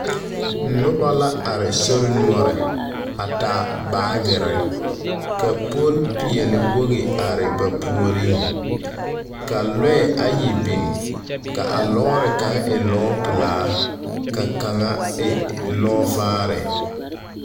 Noba la are sori noɔre a taa baagere, ka polipeɛlewogi are ba puoriŋ, ka lɔɛ ayi biŋ ka a lɔɔre kaŋa e lɔɔpelaa, ka kaŋa e lɔɔvaare.